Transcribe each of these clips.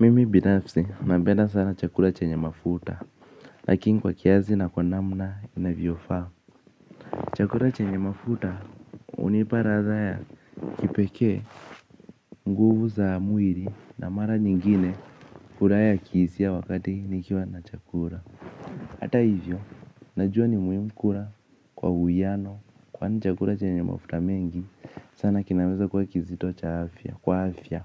Mimi binafsi nabenda sana chakula chenye mafuta. Lakini kwa kiasi na kwa namna inavyofaa. Chakula chenye mafuta hunipa ladha ya kipekee. Nguvu za mwili na mara nyingine furaha ya kihisia wakati nikiwa na chakula. Hata hivyo, najua ni muhimu kula kwa uwiano. Kwani chakula chenye mafuta mengi sana kinaweza kuwa kizito kwa afya.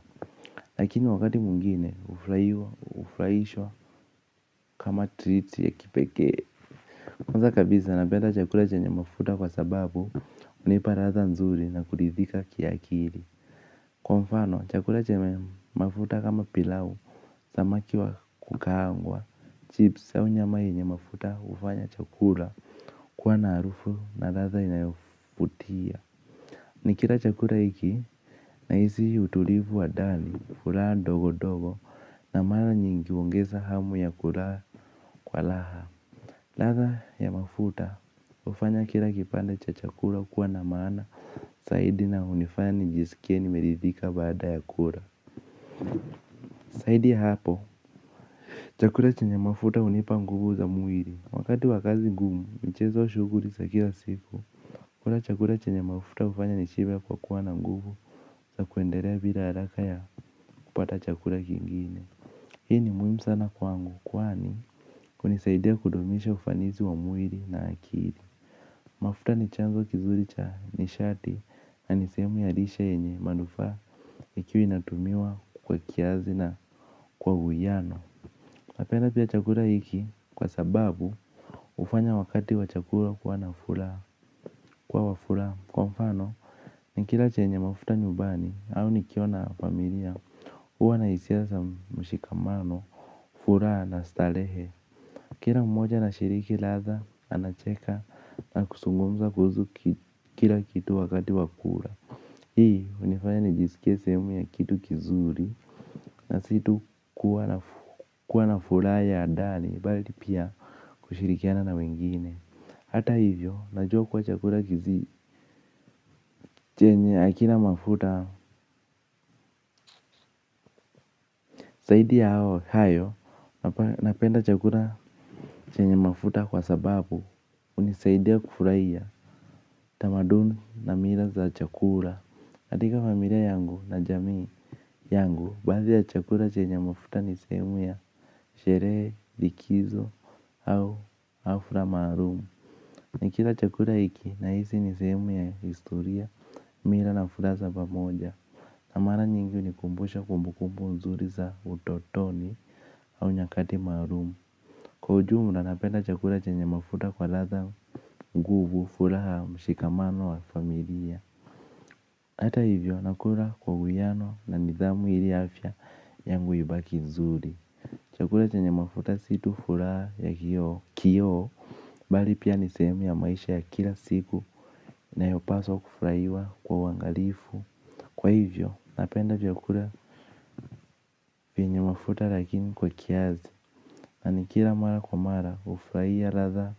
Lakini wakati mwingine, hufurahiwa, hufurahishwa. Kama triti ya kipekee. Kwanza kabisa napenda chakula chenye mafuta kwa sababu hunipa ladha nzuri na kuridhika kiakili. Kwa mfano chakula chenye mafuta kama pilau samaki wa kukaangwa Chips au nyama yenye mafuta hufanya chakula kuwa na harufu na ladha inayovutia. Nikila chakula hiki nahisi utulivu wa ndani furaha ndogondogo. Na mara nyingi huongeza hamu ya kula kwa raha. Ladha ya mafuta hufanya kila kipande cha chakula kuwa na maana zaidi na hunifanya nijisikie nimeridhika baada ya kula zaidi ya hapo. Chakula chenye mafuta hunipa nguvu za mwili. Wakati wa kazi ngumu, michezo shughuli za kila siku. Kula chakula chenye mafuta hufanya nishibe kwa kuwa na nguvu za kuendelea bila haraka ya kupata chakula kingine. Hii ni muhimu sana kwangu, kwani hunisaidia kudumisha ufanisi wa mwili na akili. Mafuta ni chanzo kizuri cha nishati na ni sehemu ya lishe yenye manufaa ikiwa inatumiwa kwa kiasi na kwa uwiano. Napenda pia chakula hiki kwa sababu hufanya wakati wa chakula kuwa na furaha. Kuwa wa furaha kwa mfano nikila chenye mafuta nyumbani au nikiona familia huwa na hisia za mshikamano furaha na starehe. Kila mmoja anashiriki ladha anacheka na kuzungumza kuhusu kila kitu wakati wa kula. Hii hunifanya nijisikie sehemu ya kitu kizuri na si tu kuwa na furaha ya ndani bali pia kushirikiana na wengine. Hata hivyo najua kuwa chakula kizi chenye hakina mafuta zaidi ya hao hayo napenda chakura chenye mafuta kwa sababu hunisaidia kufurahia tamaduni na mila za chakula. Katika familia yangu na jamii yangu baadhi ya chakula chenye mafuta ni sehemu ya sherehe, likizo au hafla maalum. Nikila chakula hiki nahisi ni sehemu ya historia mila na furaha za pamoja. Na mara nyingi hunikumbusha kumbukumbu nzuri za utotoni au nyakati maalum. Kwa ujumla napenda chakula chenye mafuta kwa ladha nguvu furaha mshikamano wa familia. Hata hivyo nakula kwa uwiano na nidhamu ili afya yangu ibaki nzuri. Chakula chenye mafuta si tu furaha ya kioo bali pia ni sehemu ya maisha ya kila siku nayopaswa kufurahiwa kwa uangalifu. Kwa hivyo, napenda vyakula venye mafuta lakini kwa kiasi. Na nikila mara kwa mara hufurahia ladha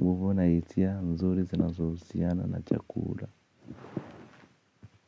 nguvu na hisia nzuri zinazohusiana na chakula.